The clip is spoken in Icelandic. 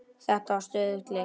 Þetta er stöðug leit!